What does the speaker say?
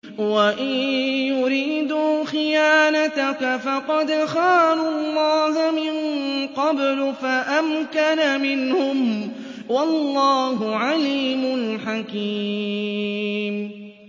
وَإِن يُرِيدُوا خِيَانَتَكَ فَقَدْ خَانُوا اللَّهَ مِن قَبْلُ فَأَمْكَنَ مِنْهُمْ ۗ وَاللَّهُ عَلِيمٌ حَكِيمٌ